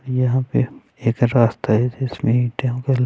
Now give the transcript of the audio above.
यहां पे एक रास्ता है जिसमें ये टेंपल --